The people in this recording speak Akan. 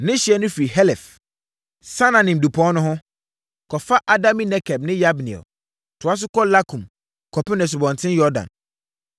Ne ɛhyeɛ no firi Helef, Saananim dupɔn no ho, kɔfa Adami-Nekeb ne Yabneel, toa so kɔ Lakum kɔpem Asubɔnten Yordan.